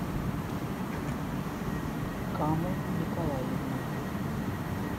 камо николаевна